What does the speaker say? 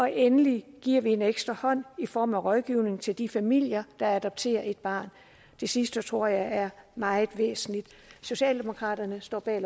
endelig giver vi en ekstra hånd i form af rådgivning til de familier der adopterer et barn det sidste tror jeg er meget væsentligt socialdemokraterne står bag